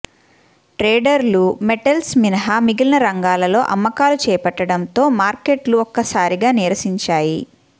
ట్రేడర్లు metals మినహా మిగిలిన రంగాలలో అమ్మకాలు చేపట్టడంతో మార్కెట్లు ఒక్కసారిగా నీరసించాయి